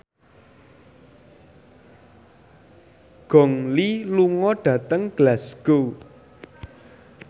Gong Li lunga dhateng Glasgow